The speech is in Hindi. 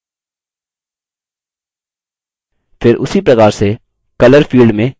फिर उसी प्रकार से color field में green पर click करें